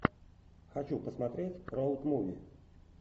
хочу посмотреть роуд муви